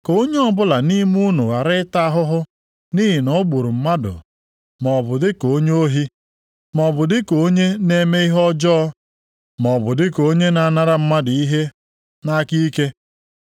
Ka onye ọbụla nʼime unu ghara ịta ahụhụ nʼihi na o gburu mmadụ maọbụ dị ka onye ohi, maọbụ dị ka onye na-eme ihe ọjọọ, maọbụ dị ka onye na-anara mmadụ ihe nʼaka ike.